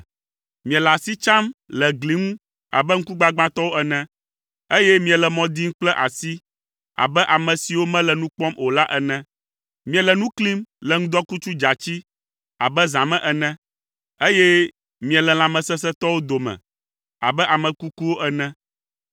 Miele asi tsam le gli ŋu abe ŋkugbagbãtɔwo ene, eye miele mɔ dim kple asi abe ame siwo mele nu kpɔm o la ene. Miele nu klim le ŋdɔkutsu dzatsi abe zã me ene, eye míele lãmesesẽtɔwo dome abe ame kukuwo ene.